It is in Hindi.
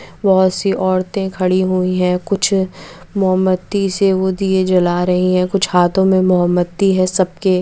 बहुत सी औरते खड़ी हुई है कुछ मोमबत्ती से वो दिये जला रही है कुछ हाथो मे मोमबत्ती है सबके--